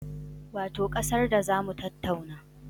Wato ƙasar da za mu tattauna